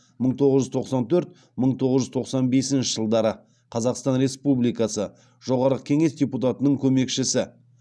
мың тоғыз жүз тоқсан төрт мың тоғыз жүз тоқсан бесінші жылдары қазақстан республикасы жоғарғы кеңес депутатының көмекшісі